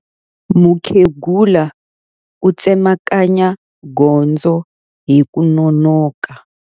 Mukhegula u tsemakanya gondzo hi ku nonoka.